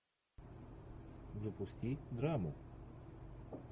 запусти драму